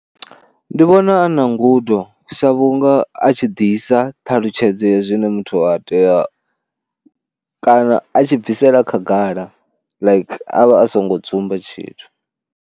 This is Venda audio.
Ndi vhona a na ngudo sa vhunga a tshi ḓisa ṱhalutshedzo ya zwine muthu a tea kana a tshi bvisela khagala like a vha a songo dzumba tshithu.